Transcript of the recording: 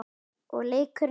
Og leikur einn.